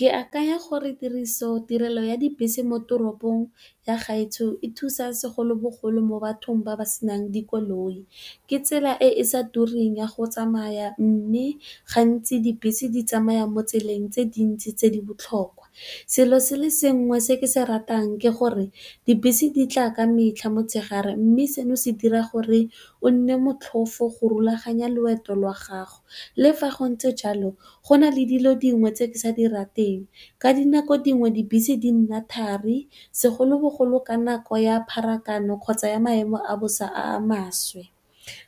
Ke akanya gore tiriso tirelo ya dibese mo toropong ya gaetsho e thusa segolobogolo mo bathong ba ba senang dikoloi ke tsela e e sa turing ya go tsamaya. Mme, gantsi dibese di tsamaya mo tseleng tse dintsi tse di botlhokwa. Selo se le sengwe se ke se ratang ke gore dibese di tla ka metlha motshegare mme, seno se dira gore gonne motlhofo go rulaganya loeto la gago. Le fa go ntse jalo go na le dilo dingwe tse ke sa di rateng, ka dinako dingwe dibese di nna thari segolobogolo, ka nako ya pharakano kgotsa ya maemo a bosa a maswe.